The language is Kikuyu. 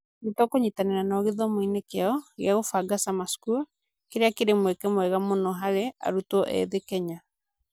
Nĩ tũkũnyitanĩra nao gĩthomo-inĩ kĩao kĩa kũbanga Summer School, kĩrĩa kĩrĩ mweke mwega mũno harĩ arutwo ethĩ Kenya.